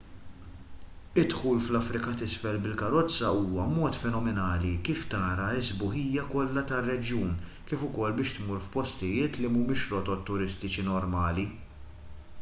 id-dħul fl-afrika t'isfel bil-karozza huwa mod fenomenali kif tara s-sbuħija kollha tar-reġjun kif ukoll biex tmur f'postijiet li mhumiex fir-rotot turistiċi normali